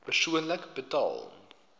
persoonlik betaal